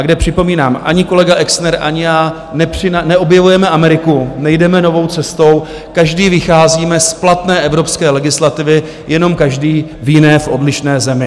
A kde, připomínám, ani kolega Exner, ani já neobjevujeme Ameriku, nejdeme novou cestou, každý vycházíme z platné evropské legislativy, jenom každý v jiné, odlišné zemi.